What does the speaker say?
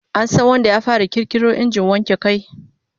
An san wanda ya fara kirkiro injin wanke kai?